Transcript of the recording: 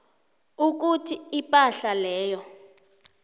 ukuthi ipahla leyo